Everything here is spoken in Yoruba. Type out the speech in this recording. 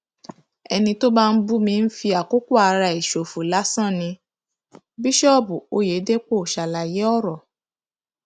ẹni tó bá ń bú mi ń fi àkókò ara ẹ ṣòfò lásán ni bíṣọọbù ọyẹdẹpọ ṣàlàyé ọrọ